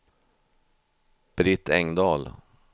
Britt Engdahl